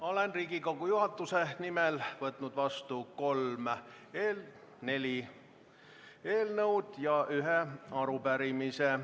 olen Riigikogu juhatuse nimel võtnud vastu neli eelnõu ja ühe arupärimise.